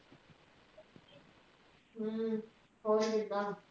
ਹਮ ਹੋਰ ਕਿੱਦਾਂ?